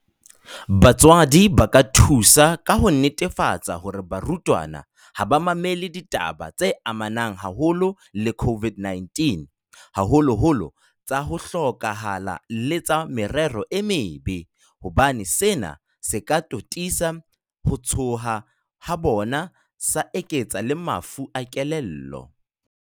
Batswadi ba ka thusa ka ho netefatsa hore barutwana ha ba mamele ditaba tse amanang haholo le COVID-19, haholoholo tsa ho hloka hala le tsa merero e mebe, hobane sena se ka totisa ho tshoha ha bona sa eketsa le mafu a kelello.